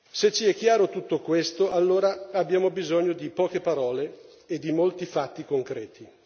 Se ci è chiaro tutto questo, allora abbiamo bisogno di poche parole e di molti fatti concreti.